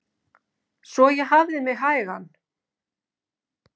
Svo ég hafði mig hægan.